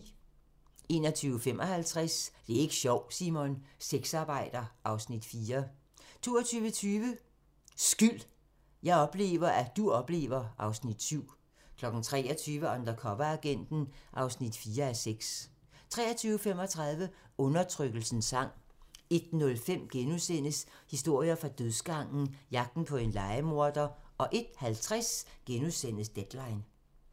21:55: Det er ik' sjovt, Simon! - Sexarbejder (Afs. 4) 22:20: Skyld - jeg oplever, at du oplever... (Afs. 7) 23:00: Undercoveragenten (4:6) 23:35: Undertrykkelsens sang 01:05: Historier fra dødsgangen - Jagten på en lejemorder * 01:50: Deadline *